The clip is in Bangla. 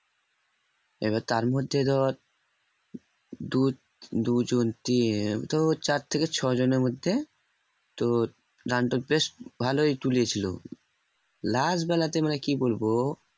এবার তার মধ্যে ধর দু দুজন তো চার থেকে ছয়জনের মধ্যে তোর তোর বেশ ভালই তুলেছিল last বেলাতে মানে কি বলবো